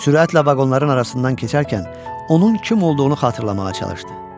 Sürətlə vaqonların arasından keçərkən onun kim olduğunu xatırlamağa çalışdı.